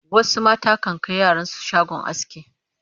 wasu mata kan Kai yaran su shagon aski